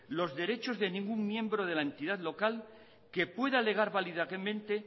los derechos de ningún miembro de la entidad local que pueda alegar válidamente